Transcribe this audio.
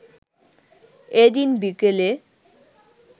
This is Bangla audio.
এদিন বিকেলে